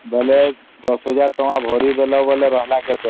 ସୁଝି ଦେଲ ୧୦୦୦୦